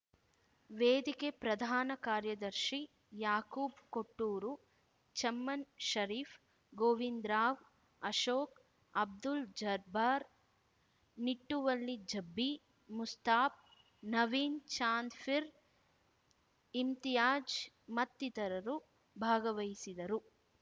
ವೇದಿಕೆ ಪ್ರಧಾನ ಕಾರ್ಯದರ್ಶಿ ಯಾಖೂಬ್‌ ಕೊಟ್ಟೂರು ಚಮನ್‌ ಷರೀಫ್‌ ಗೋವಿಂದರಾವ್‌ ಅಶೋಕ್ ಅಬ್ದುಲ್‌ ಜರ್ಬ್ಬಾರ್‌ ನಿಟುವಳ್ಳಿ ಜಬೀ ಮುಸ್ತಾಫ್‌ ನವೀನ್ ಚಾಂದ್‌ ಪೀರ್‌ ಇಮ್ತಿಯಾಜ್‌ ಮತ್ತಿತರರು ಭಾಗವಹಿಸಿದರು